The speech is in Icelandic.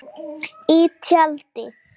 Í tjaldi.